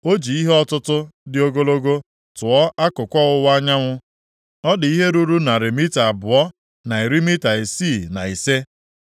O ji ihe ọtụtụ dị ogologo tụọ akụkụ ọwụwa anyanwụ, ọ dị ihe ruru narị mita abụọ na iri mita isii na ise.